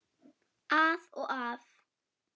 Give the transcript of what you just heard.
Að og af.